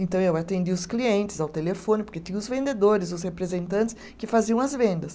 Então eu atendia os clientes ao telefone, porque tinha os vendedores, os representantes que faziam as vendas.